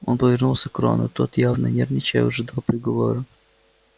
он повернулся к рону тот явно нервничая ожидал приговора